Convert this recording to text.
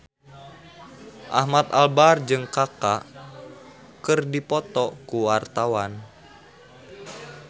Ahmad Albar jeung Kaka keur dipoto ku wartawan